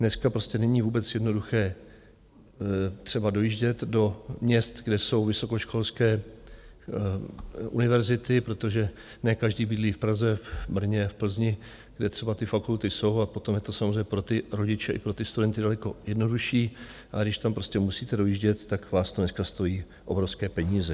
Dneska prostě není vůbec jednoduché třeba dojíždět do měst, kde jsou vysokoškolské univerzity, protože ne každý bydlí v Praze, v Brně, v Plzni, kde třeba ty fakulty jsou a potom je to samozřejmě pro ty rodiče i pro ty studenty daleko jednodušší, ale když tam prostě musíte dojíždět, tak vás to dneska stojí obrovské peníze.